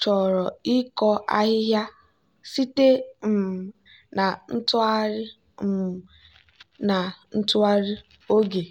chọrọ ịkọ ahịhịa site um na ntụgharị um na ntụgharị oge.